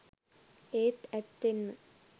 ඒත් ඇත්තෙන්ම